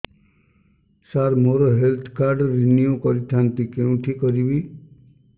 ସାର ମୋର health card renew କରିଥାନ୍ତି କେଉଁଠି କରିବି